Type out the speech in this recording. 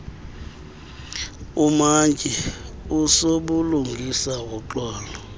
umantyi usobulungisa woxolo